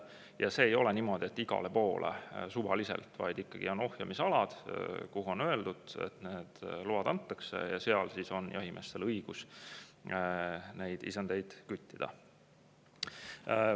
Ja see ei ole niimoodi, et igale poole suvaliselt, vaid ikkagi on ohjamisalad, kuhu need load antakse, ja seal on siis jahimeestel õigus neid isendeid küttida.